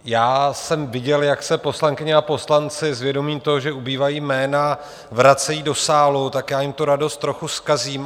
Já jsem viděl, jak se poslankyně a poslanci s vědomím toho, že ubývají jména, vracejí do sálu, tak já jim tu radost trochu zkazím.